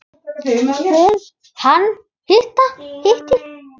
Hún: Hann hitti.